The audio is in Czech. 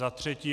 Za třetí.